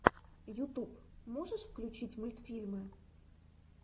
ютуб можешь включить мультфильмы